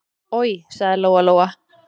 Oj, sagði Lóa-Lóa.